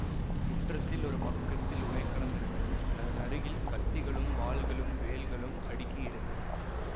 முற்றத்தில் ஒரு பக்கத்தில் உலைக்களம் இருந்தது அதன் அருகில் கத்திகளும் வாள்களும் வேல்களும் அடுக்கியிருந்தன